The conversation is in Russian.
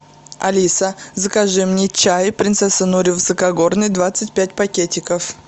алиса закажи мне чай принцесса нури высокогорный двадцать пять пакетиков